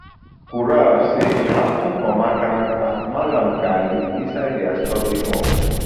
kaura say e happun for makaranta mallam ghali inside dia study hall